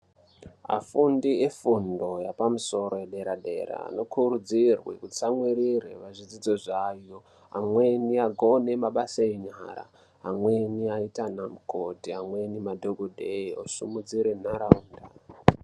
Afundi efundo yapamusoro yedera yedera anokurudzirwe kutsamwirire pazvidzidzo zvavo amweni akone mabasa enyara amweni aite ana mukoti amweni madhokodhera osimudzire nharaunda.